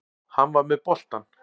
Hann var með boltann.